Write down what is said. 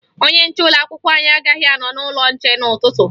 Onye nche ụlọakwụkwọ anyị agaghị anọ n'ụlọnche n'ụtụtụ